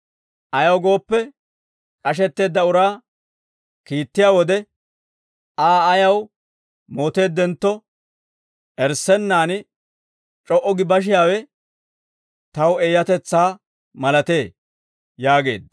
Ayaw gooppe, k'ashetteedda uraa kiittiyaa wode, Aa ayaw mooteeddentto, erissennan c'o"u gi bashiyaawe taw eeyatetsaa malatee» yaageedda.